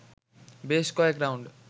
বেশ কয়েক রাউন্ড